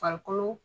Farikolo